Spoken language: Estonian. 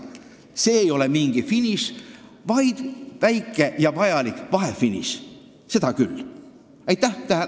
See ei ole mingi finiš, vaid vahefiniš, väike ja vajalik, seda küll.